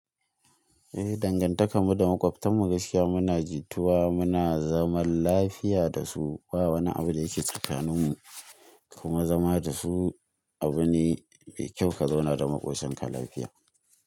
Eh, dangantakarmu da maƙwabtan mu gaskiya muna ji tuwa, muna zaman lafiya da su. Ba wani abu da yake tsakanin mu kuma zama da su abu ne mai kyau ka zauna da maƙwabcin ka lafiya.